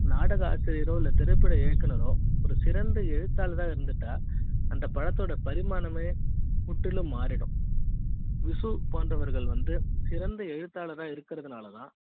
நாடகா ஆசிரியரோ திரைப்பட இயக்குனரோ ஒரு சிறந்த எழுத்தாளராக இருந்துட்டா அந்த படத்தோட பரிமாணமே முற்றிலும் மாறிடும் விசு போன்றவர்கள் வந்து சிறந்த எழுத்தாளரா இருக்கறதுனாலதான்